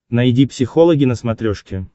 найди психологи на смотрешке